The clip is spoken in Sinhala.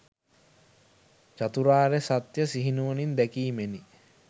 චතුරාර්ය සත්‍යය සිහිනුවණින් දැකීමෙනි.